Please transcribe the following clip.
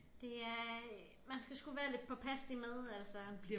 Det er man skal sgu være lidt påpasselig med altså